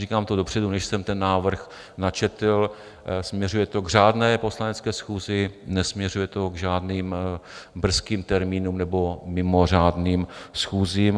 Říkám to dopředu, než jsem ten návrh načetl, směřuje to k řádné Poslanecké schůzi, nesměřuje to k žádným brzkým termínům nebo mimořádným schůzím.